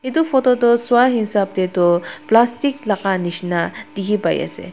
etu photo tho sua esab dae tho plastic laka nishina tiki bai ase.